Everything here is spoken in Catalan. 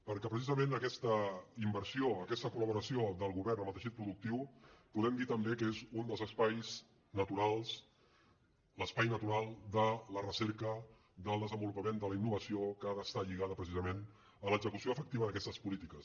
perquè precisament aquesta inversió aquesta col·laboració del govern amb el teixit productiu podem dir també que és un dels espais naturals l’espai natural de la recerca del desenvolupament de la innovació que ha d’estar lligada precisament a l’execució efectiva d’aquestes polítiques